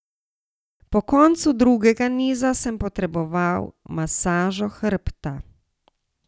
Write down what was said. Po koncu drugega niza sem potreboval masažo hrbta.